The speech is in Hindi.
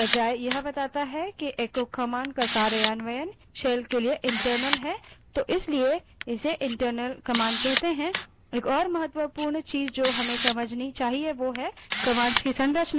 अतः file देने के बजाय यह बताता है कि echo command का कार्यान्वयन shell के लिए internal है इसलिए इसे internal command कहते हैं